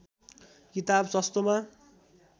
किताब सस्तोमा